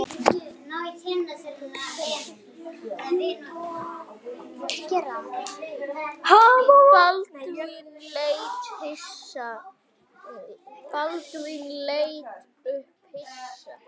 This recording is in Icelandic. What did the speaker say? Baldvin leit upp hissa.